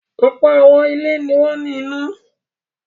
Ọ̀pọ̀ àwọn ilé ni wọ́n ní iná.